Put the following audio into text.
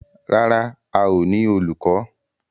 Rárá, a ó ní olùkọ́.